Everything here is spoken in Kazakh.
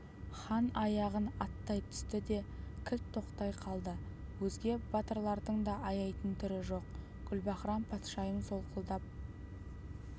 хан аяғын аттай түсті де кілт тоқтай қалды өзге батырлардың да аяйтын түрі жоқ гүлбаһрам-патшайым солқылдап